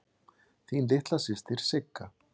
Þín litla systir Sigga.